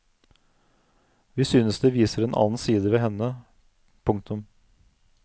Vi synes det viser en annen side ved henne. punktum